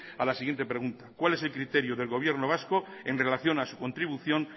a la siguiente pregunta cuál es el criterio del gobierno vasco en relación a su contribución